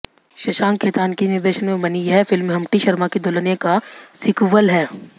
शशांक खेतान के निर्देशन में बनी यह फिल्म हम्प्टी शर्मा की दुल्हनिया का सीक्वल है